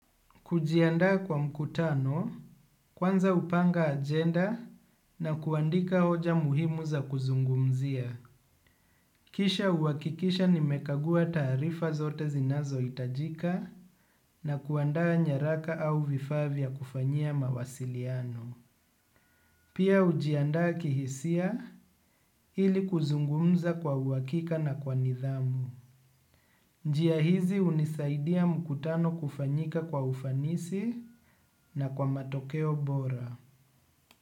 Kujiandaa kwa mkutano, kwanza hupanga agenda na kuandika hoja muhimu za kuzungumzia. Kisha huhakikisha nimekagua taarifa zote zinazohitajika na kuandaa nyaraka au vifaa vya kufanyia mawasiliano. Pia hujiandaa kihisia ili kuzungumza kwa uhakika na kwa nidhamu. Njia hizi hunisaidia mkutano kufanyika kwa ufanisi na kwa matokeo bora.